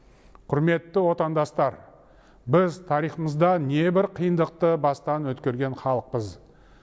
құрметті отандастар біз тарихымызда небір қиындықты бастан өткерген халықпыз